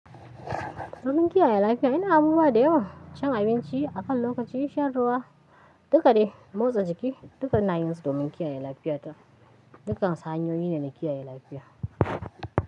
Domin kiyaye lafiya ina abubuwa da yawa, cin abinci akan lokaci, shan ruwa dukka dai motsa jiki dukka ina yin su domin kiyaye lafiyata. Dukkan suhanyoyi ne na kiyaye lafiya.